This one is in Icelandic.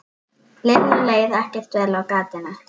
Lillu leið ekkert vel á gatinu.